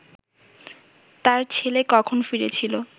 তার ছেলে কখন ফিরেছিল